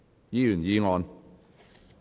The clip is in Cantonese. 議員議案。